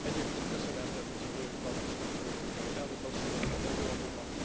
Egyébként köszönettel tartozunk Elnök Asszonynak, az előadónak.